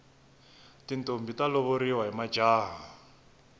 tintombhi ta lovoriwa hi majaha